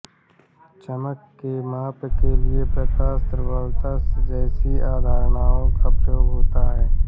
चमक के माप के लिए प्रकाश प्रबलता जैसी अवधारणाओं का प्रयोग होता है